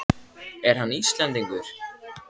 Er hann Íslendingur?